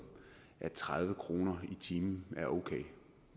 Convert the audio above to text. at tredive kroner i timen er okay